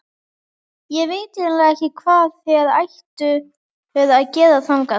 Ég veit eiginlega ekki hvað þér ættuð að gera þangað.